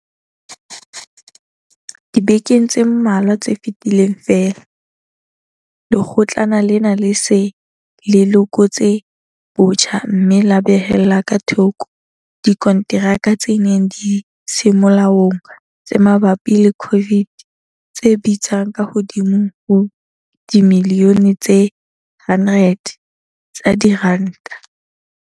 Dibekeng tse mmalwa tse fetileng feela, Lekgotlana lena le se le lekotse botjha mme la behella ka thoko dikonteraka tse neng di se molaong tse mabapi le COVID tse bitsang ka hodimo ho dimilione tse 100 tsa diranta.